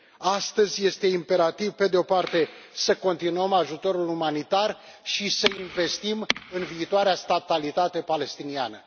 Astăzi este imperativ, pe de o parte, să continuăm ajutorul umanitar și să investim în viitoarea statalitate palestiniană.